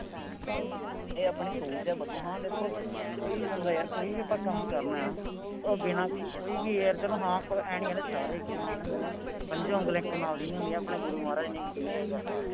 ਇਹ ਆਪਣੀ ਸੋਚ ਆ ਬਦਲੋ ਹਾਂ ਦੇਖੋ ਕੋਈ ਵੀ ਬੰਦਾ ਯਾਰ, ਕੋਈ ਵੀ ਆਪਾਂ ਕੰਮ ਕਰਨਾ, ਉਹ ਬਿਨਾ ਕੋਈ ਵੀ ਯਾਰ, ਚੱਲੋ half ਆਂਏਂ ਨਹੀਂ ਕਹਿੰਦੇ ਸਾਰੇ ਇੱਕੋ ਨਾਲ ਦੇ ਹੁੰਦੇ ਨੇ, ਪੰਜੇ ਉਂਗਲਾਂ ਇੱਕੇ ਨਾਲ ਦੀਆਂ ਨਹੀਂ ਹੁੰਦੀਆਂ, ਆਪਣੇ ਗੁਰੂ ਮਹਾਰਾਜ ਨੇ ਕਹੀ ਆ ਇਹ ਗੱਲ,